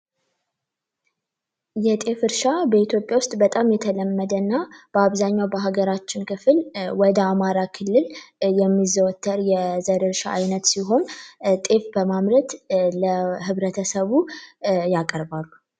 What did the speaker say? የጤፍ እርሻ በኢትዮጵያ ውስጥ በጣም የተለመደ እና በአብዛኛው የሀገራችን ክፍል በተለይ ወደ አማራ ክልል የሚዘወተር የዘር እርሻ ሲሆን ጤፍ በማምረት ለህብረተሰቡ ያቀርባሉ።